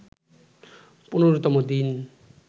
১৫তম দিন